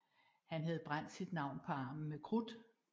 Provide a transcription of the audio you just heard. Han havde brændt sit navn på armen med krudt